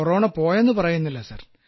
corona പോയെന്നു പറയുന്നില്ല sir